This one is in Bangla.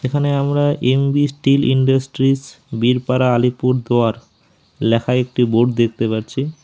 এখানে আমরা M B steel industries Birpara Alipurduar লেখা একটি বোর্ড দেখতে পারছি।